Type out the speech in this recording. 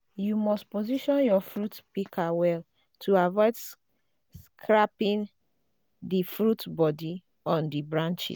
you must position your fruit pika well to avoid scraping di fruit bodi on di branches